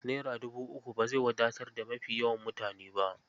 Naira dubu uku ba zai wadatar da mafi yawan mutane ba.